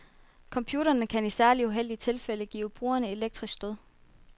Computerne kan i særligt uheldige tilfælde give brugerne elektriske stød.